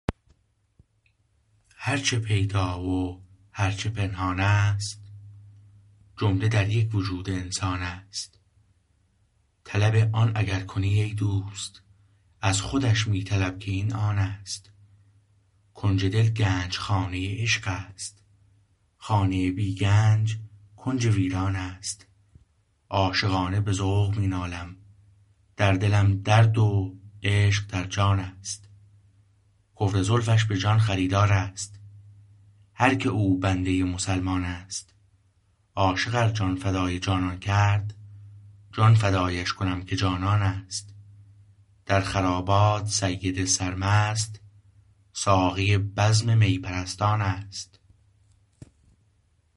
هر چه پیدا و هر چه پنهان است جمله در یک وجود انسان است طلب آن اگر کنی ای دوست از خودش می طلب که این آن است کنج دل گنج خانه عشق است خانه بی گنج کنج ویران است عاشقانه به ذوق می نالم در دلم درد و عشق در جان است کفر زلفش به جان خریدار است هر که او بنده ی مسلمان است عاشق ار جان فدای جانان کرد جان فدایش کنم که جانان است در خرابات سید سرمست ساقی بزم می پرستان است